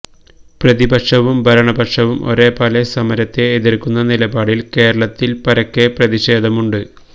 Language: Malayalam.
പ്രതിപക്ഷവും ഭരണപക്ഷവും ഒരേപോലെ സമരത്തെ എതിർക്കുന്ന നിലപാടിൽ കേരളത്തിൽ പരക്കെ പ്രതിഷേധമുണ്ട്